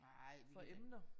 Nej vi